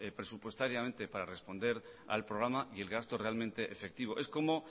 presupuestariamente para responder al programa y el gasto realmente efectivo es como